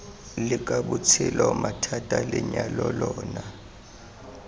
leka botshelo mathata lenyalo lona